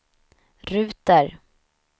ruter